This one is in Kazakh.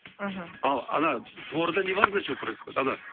мхм ал ана дворда не важно что происходит ана